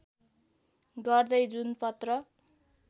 गर्दै जुन पत्र